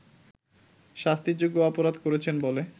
শাস্তিযোগ্য অপরাধ করেছেন বলে